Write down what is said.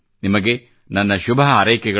ನಿಮೆಗೆ ನನ್ನ ಶುಭ ಹಾರೈಕೆಗಳು